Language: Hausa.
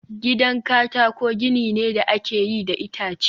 gidan katako gini ne da aka yi da itace